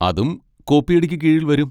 അതും കോപ്പിയടിക്ക് കീഴിൽ വരും.